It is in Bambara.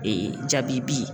jabibi.